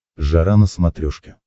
жара на смотрешке